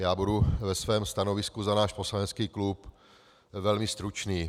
Já budu ve svém stanovisku za náš poslanecký klub velmi stručný.